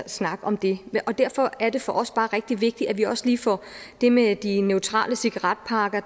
snak om det og derfor er det for os bare rigtig vigtigt at vi også lige får det med de neutrale cigaretpakker